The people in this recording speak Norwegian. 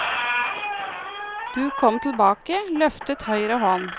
Du kom tilbake, løftet høyre hånd.